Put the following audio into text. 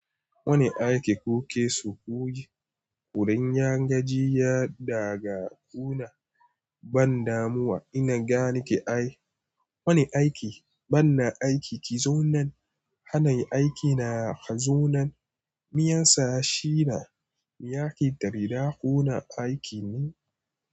Wani aiki kuke so ku yi? Kurin, yan gajiya daga kuna ban damuwa ina gane ke ai. Wani aiki, banna aiki ki zo nan. Hanai aiki na ka zo nan. Mi yansa shi da miya ki tare da kuna aiki ne.